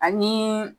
Ani